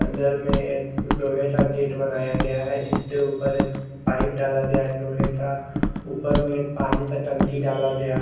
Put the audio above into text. अंदर में एक लोहे का गेट बनाया गया है जिसके ऊपर एक पाइप डाला गया है लोहे का ऊपर में पानी का टंकी डाला गया है ।